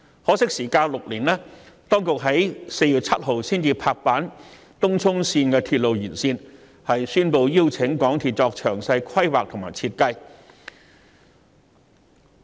可惜相隔6年，當局在4月7日才拍板興建東涌綫延線，宣布邀請香港鐵路有限公司作詳細規劃和設計。